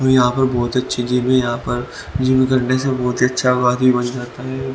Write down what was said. और यहां पर बहोत अच्छी जिम है और यहां पर जिम करने से बहोत हि अच्छा बॉडी बन जाता है।